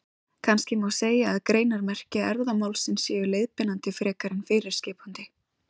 Kannski má segja að greinarmerki erfðamálsins séu leiðbeinandi frekar en fyrirskipandi.